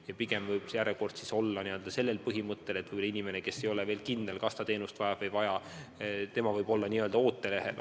Ja pigem võib järjekord olla sellisel põhimõttel, et kui inimene ei ole veel kindel, kas ta teenust vajab või ei vaja, siis on ta n-ö ootelehel.